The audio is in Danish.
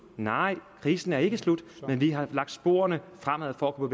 nej krisen er ikke slut men vi har lagt sporene fremad for at kunne